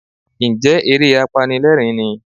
Ǹjẹ́ eré apanilẹ́rìń ni?